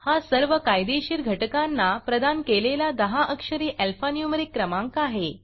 हा सर्व कायदेशीर घटकांना प्रदान केलेला दहा अक्षरी अल्फा न्यूमरीक क्रमांक आहे